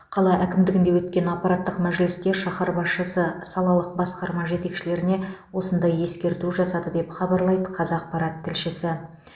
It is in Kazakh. қала әкімдігінде өткен аппараттық мәжілісте шаһар басшысы салалық басқарма жетекшілеріне осындай ескерту жасады деп хабарлайды қазақпарат тілшісі